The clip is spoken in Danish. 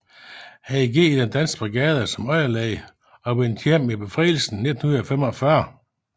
Han gik ind i Den Danske Brigade som underlæge og vendte hjem ved befrielsen 1945